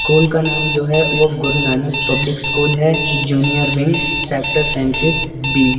School का नाम जो है वो गुरु नानक पब्लिक स्कूल है जूनियर विंग सेक्टर सैंतीस बी ।